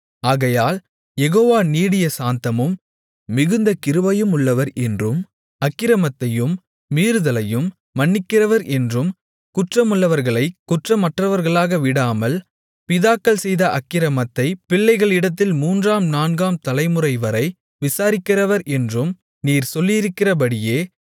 ஆகையால் யெகோவா நீடிய சாந்தமும் மிகுந்த கிருபையுமுள்ளவர் என்றும் அக்கிரமத்தையும் மீறுதலையும் மன்னிக்கிறவர் என்றும் குற்றமுள்ளவர்களைக் குற்றமற்றவர்களாக விடாமல் பிதாக்கள் செய்த அக்கிரமத்தைப் பிள்ளைகளிடத்தில் மூன்றாம் நான்காம் தலைமுறைவரை விசாரிக்கிறவர் என்றும் நீர் சொல்லியிருக்கிறபடியே